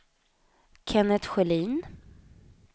Kennet Sjölin